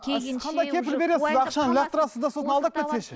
а сіз қандай кепіл бересіз ақшаны лақтырасыз да сосын алдап кетсе ше